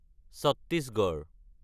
Chhattisgarh